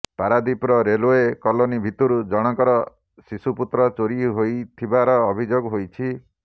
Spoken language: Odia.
ପାରାଦୀପର ରେଳୱେ କଲୋନୀ ଭିତରୁ ଜଣଙ୍କର ଶିଶୁପୁତ୍ର ଚୋରୀ ହୋଇଥିବାର ଅଭିଯୋଗ ହୋଇଛି